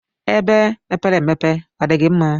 Ebe mepere emepe ọdigi mma?